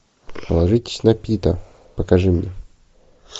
положитесь на пита покажи мне